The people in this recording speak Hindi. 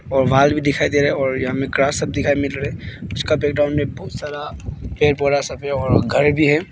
और वाल भी दिखाई दे रहा है और यहा मे ग्रास सब दिखाई मिल रहा है उसका बैकग्राउंड में बहुत सारा और घर भी है।